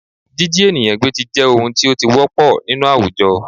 Jíjí ènìyàn gbé jẹ́ ohun tí ó ti wọ́pọl nínú àwùjọ